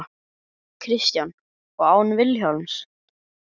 Kristján: Og án Vilhjálms?